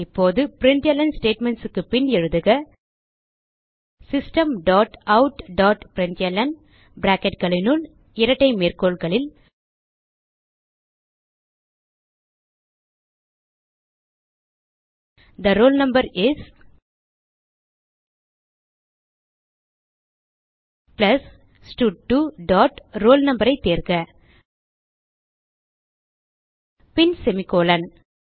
இப்போது பிரின்ட்ல்ன் statementsக்கு பின் எழுதுக system dot out dot println bracketனுள் இரட்டை மேற்கோள்களில் the roll number is plus ஸ்டட்2 டாட் roll no ஐ தேர்க பின் செமிகோலன்